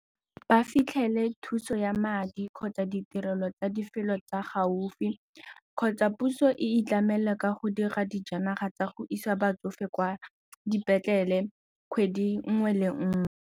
Ba fitlhele thuso ya madi kgotsa ditirelo tsa lefelo tsa gaufi kgotsa puso e itlamela ka go dira dijanaga tsa go isa batsofe kwa dipetlele kgwedi nngwe le nngwe.